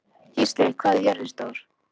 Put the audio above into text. Gísli, hvað er jörðin stór?